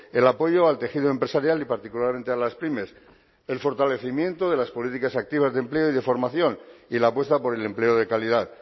el apoyo al tejido empresarial y particularmente a las pymes el fortalecimiento de las políticas activas de empleo y de formación y la apuesta por el empleo de calidad